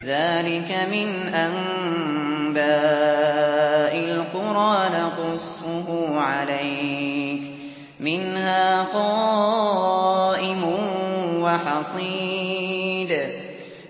ذَٰلِكَ مِنْ أَنبَاءِ الْقُرَىٰ نَقُصُّهُ عَلَيْكَ ۖ مِنْهَا قَائِمٌ وَحَصِيدٌ